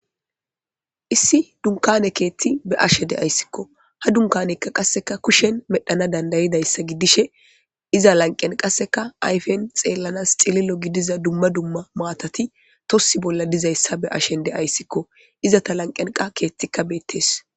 issi dunkane keethti be'ashe de7ayssikko ha dunkanekka qasseka kushen medhana dandayidayssa giddishe iza lanqen qasseka ayfen xeellanas xililo gidiza dumma dumma maatati tossi bolla dizayssa be ashen deayssikko iza ta lanqenqa keettikka beettees